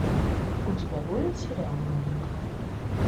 у тебя будет сериал новенькая